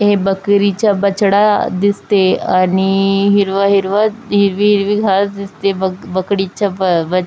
ये बकरीचा बछडा दिसते आणि हिरव हिरव हिरवी हिरवी घास दिसते बक बकडीच्या ब बच--